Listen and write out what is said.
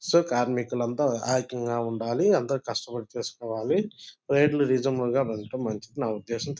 So కార్మికులు అంత ఐక్యంగా ఉండాలి అంత కస్టపడి చేసుకోవాలి రేట్ లు రేజనబెల్ గ పెట్టడం మంచిది నా ఉద్దేశం.